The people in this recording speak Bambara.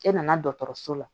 E nana dɔgɔtɔrɔso la